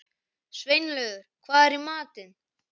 Sveinlaugur, hvað er í matinn?